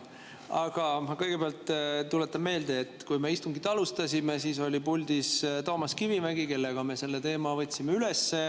Aga ma kõigepealt tuletan meelde, et kui me istungit alustasime, siis oli puldis Toomas Kivimägi, kellega me selle teema üles võtsime.